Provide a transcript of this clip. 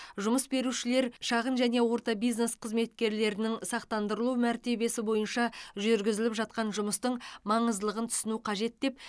жұмыс берушілер шағын және орта бизнес қызметкерлерінің сақтандырылу мәртебесі бойынша жүргізіліп жатқан жұмыстың маңыздылығын түсінуі қажет деп